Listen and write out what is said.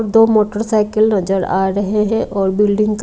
दो मोटरसाइकिल नजर आ रहे हैं और बिल्डिंग का --